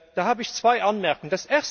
Da habe ich zwei Anmerkungen.